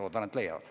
Loodan, et leiavad.